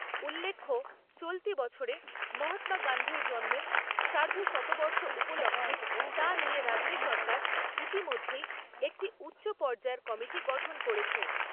উল্লেখ্য, চলতি বছরে মহত্মা গান্ধীর জন্মের সার্ধশতবর্ষ উপলক্ষ্যে তা নিয়ে রাজ্য সরকার ইতিমধ্যেই একটি উচ্চপর্যায়ের কমিটি গঠন করেছে।